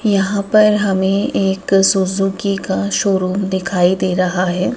यहां पर हमे एक सुजुकी का शोरूम दिखाई दे रहा हैं।